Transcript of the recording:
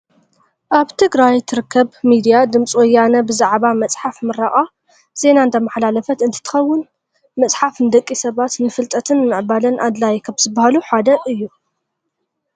ኣብ ትግራይ ትርከብ ሚድያ ድምፂ ወያነ ብዛዕባ መፅሓፍ ምረቓ ዜና እንዳማሓላለፈት እንትከውን፣ መፅሓፍ ንደቂ ሰባት ንፍልጠትን ምዕባለን ኣድላይ ካብ ዝባሃሉ ሓደ እዩ።